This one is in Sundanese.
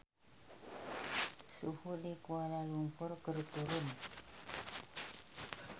Suhu di Kuala Lumpur keur turun